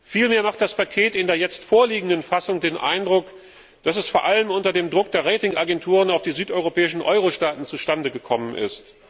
Vielmehr erweckt das Paket in der jetzt vorliegenden Fassung den Eindruck, dass es vor allem unter dem Druck der Rating Agenturen auf die südeuropäischen Euro Staaten zustande gekommen ist.